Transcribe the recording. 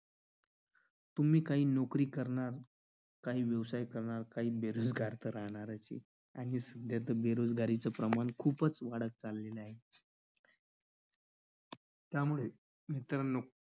तुम्ही काही नोकरी करणार. काही व्यवसाय करणार. काही बेरोजगार तर राहणार नाही. बेरोजगारीचे प्रमाण खूपच वाढत चालला आहे. त्यामुळे मित्रांनो